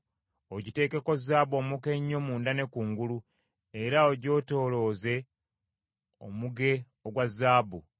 Ogiteekeko zaabu omuka ennyo munda ne kungulu, era ogyetoolooze omuge ogwa zaabu.